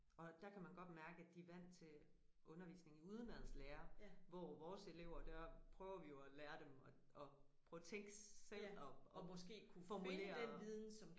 Og der kan man godt mærke at de vant til undervisning i udenadslære hvor vores elever der prøver vi jo at lære dem at at prøve at tænkte selv og formulere